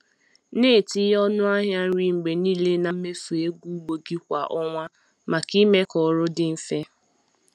Na-etinye ọnụ ahịa nri mgbe niile na mmefu ego ugbo gị kwa ọnwa maka ime ka ọrụ dị mfe.